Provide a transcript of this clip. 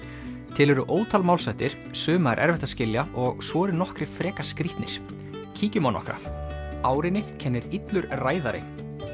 til eru ótal málshættir suma er erfitt að skilja og svo eru nokkrir frekar skrítnir kíkjum á nokkra árinni kennir illur ræðari